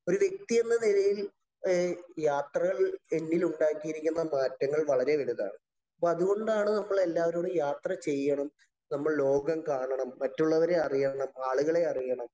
ഒരു വ്യക്തി എന്ന നിലയില്‍ യാത്രകള്‍ എന്നില്‍ ഉണ്ടാക്കിയിരിക്കുന്ന മാറ്റങ്ങള്‍ വളരെ വലുതാണ്‌. അപ്പൊ അതുകൊണ്ടാണ് നമ്മള്‍ എല്ലാവരോടും യാത്ര ചെയ്യണം. നമ്മള്‍ ലോകം കാണണം, മറ്റുള്ളവരെ അറിയണം, ആളുകളെ അറിയണം,